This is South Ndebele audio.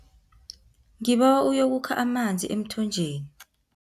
Ngibawa uyokukha amanzi emthonjeni.